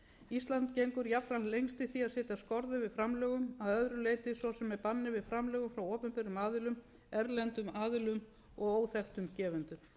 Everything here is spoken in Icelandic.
ísland gegn jafnframt lengst í því að setja skorður við framlögum að öðru leyti svo sem á banni við framlögum frá opinberum aðilum erlendum aðilum og óþekktum gefendum